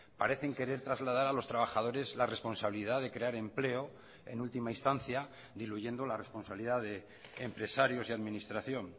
parecen querer trasladar a los trabajadores la responsabilidad de crear empleo en última instancia diluyendo la responsabilidad de empresarios y administración